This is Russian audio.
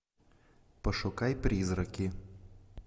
пошукай призраки